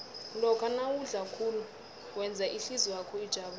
lokha nawudla kuhle wenza ihlizwakho ijabule